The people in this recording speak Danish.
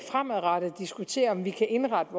fremadrettet diskutere om vi kan indrette